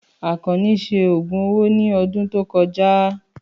Àkànní ṣe ògùn owó ní ọdún tó kọjá.